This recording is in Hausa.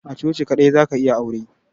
A coci kadai za ka yi aure.